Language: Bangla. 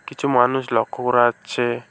কিছু মানুষ লক্ষ্য করা যাচ্ছে।